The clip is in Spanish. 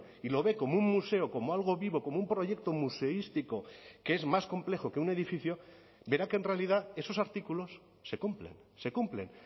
y lo ve como un museo como algo vivo como un proyecto museístico que es más complejo que un edificio verá que en realidad esos artículos se cumplen se cumplen